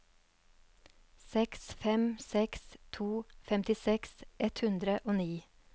seks fem seks to femtiseks ett hundre og ni